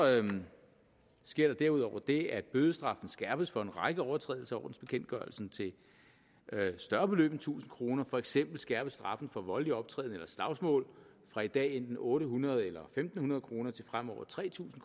sker der derudover det at bødestraffen skærpes for en række overtrædelser af ordensbekendtgørelsen til større beløb end tusind kroner for eksempel skærpes straffen for voldelig optræden eller slagsmål fra i dag enten otte hundrede eller en fem hundrede kroner til fremover tre tusind